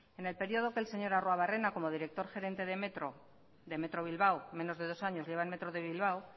en el periodo del señor arruabarrena como director gerente de metro bilbao menos de dos años lleva el metro de bilbao